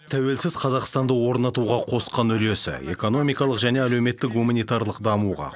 тәуелсіз қазақстанды орнатуға қосқан үлесі экономикалық және әлеуметтік гуманитарлық дамуға